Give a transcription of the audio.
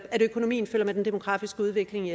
økonomien følger med den demografiske udvikling